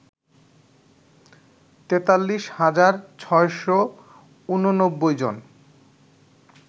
৪৩ হাজার ৬৮৯ জন